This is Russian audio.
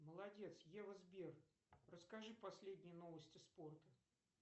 молодец ева сбер расскажи последние новости спорта